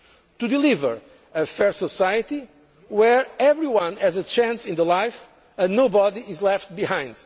to deliver a fair society where everyone has a chance in life and nobody is left behind